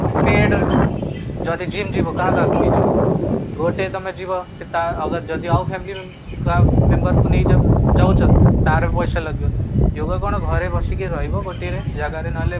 paid ରେ ଯଦି gym ଯିବା କାହା କାହାକୁ ନେଇ ଯିବ ଗୋଟେ ତମେ ଯିବ ସେ ତା ଯଦି ଆଉ family member member ଙ୍କୁ ନେଇକି ଯାଉଛ, ତାର ବି ପଇସା ଲାଗିବ yoga କଣ ଘରେ ବସିକି ରହିବ ଗୋଟିଏ ଜାଗା ରେ ନହେଲେ